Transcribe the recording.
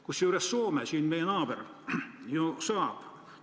Kusjuures Soome, meie naaber ju saab.